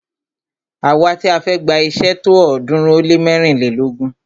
Àwa ti a fẹ́ gba iṣé tó ọ̀ọ́dúnrún ó lé mẹ́rìnlélógún.